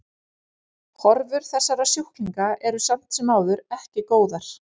Horfur þessara sjúklinga eru samt sem áður eru ekki góðar.